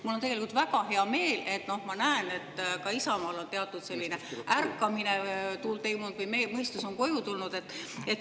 Mul on tegelikult väga hea meel, et ma näen, et ka Isamaal on teatud selline ärkamine toimunud või mõistus on koju tulnud.